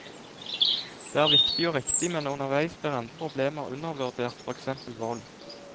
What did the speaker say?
Det er viktig og riktig, men underveis blir andre problemer undervurdert, for eksempel vold.